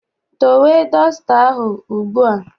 Dowe dọsta ahụ ugbu a!